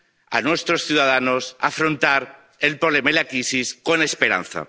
a nuestros ciudadanos afrontar el problema y la crisis con esperanza.